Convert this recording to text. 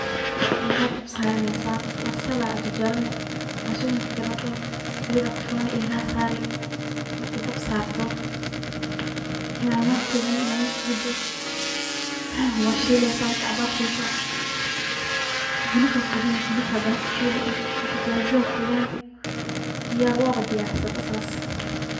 Eela dab saraneysaa ,basalaa jajarani ,basash marki jajarato, saliid aa ku shubani ,eelaha saari, marki dab saarto nyanya ku ridani ,marki ku rido waad shileysaa ,marki cabaar shiisho hilibkaa ku ridani ,hadana waa ku shiili ,marki ku shiisho viazi ga aa ku ridani ,diyaar waaba diyaarise bo saas.